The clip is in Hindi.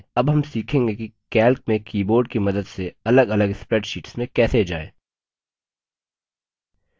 अब हम सीखेंगे कि calc में keyboard की मदद से अलगअलग spreadsheets में कैसे जाएँ